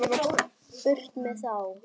Burt með þá.